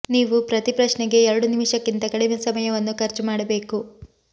ನೀವು ಪ್ರತಿ ಪ್ರಶ್ನೆಗೆ ಎರಡು ನಿಮಿಷಕ್ಕಿಂತ ಕಡಿಮೆ ಸಮಯವನ್ನು ಖರ್ಚು ಮಾಡಬೇಕು